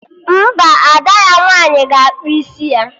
Mba, Ada ya nwaanyị ga-akpụ isi ya